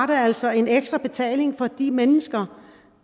det altså en ekstra betaling for de mennesker